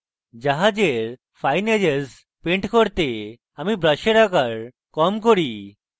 জাহাজের fine edges paint করতে আমি brush আকার কম করি